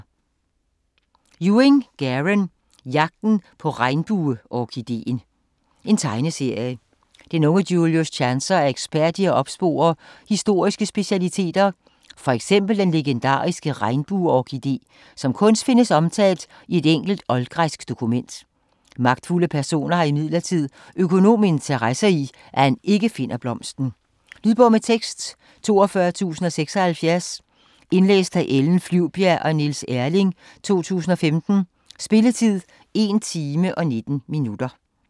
Ewing, Garen: Jagten på regnbueorkidéen Tegneserie. Den unge Julius Chancer er ekspert i at opspore historiske specialiteter, f.eks. den legendariske regnbueorkidé, som kun findes omtalt i et enkelt oldgræsk dokument. Magtfulde personer har imidlertid økonomiske interesser i, at han ikke finder blomsten. Lydbog med tekst 42076 Indlæst af Ellen Flyvbjerg og Niels Erling, 2015. Spilletid: 1 timer, 19 minutter.